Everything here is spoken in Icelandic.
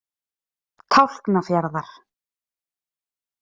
Tálknafjarðar